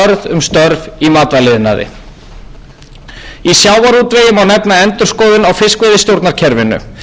um störf í matvælaiðnaði í sjávarútvegi má nefna endurskoðun á fiskveiðistjórnarkerfinu þar sem áhersla verður lögð á að tryggja atvinnuöryggi og réttindi